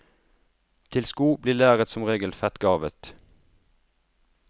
Til sko blir læret som regel fettgarva.